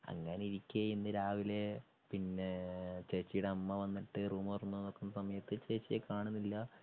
അങ്ങനെയിരിക്കെ രാവിലെ പിന്നേ ചേച്ചിയുടെ അമ്മ വന്നിട്ട് റൂമു തുറന്നുനോക്കുന്ന സമയത്തു ചേച്ചിയെ കാണുന്നില്ല.